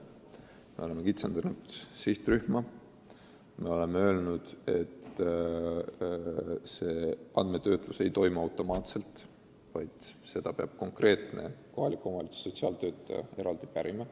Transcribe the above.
Me oleme kitsendanud sihtrühma, oleme otsustanud, et see andmetöötlus ei toimu automaatselt, vaid infot peab kohaliku omavalitsuse sotsiaaltöötaja eraldi pärima.